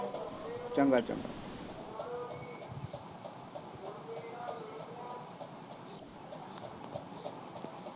ਚੰਗਾ ਚੰਗਾ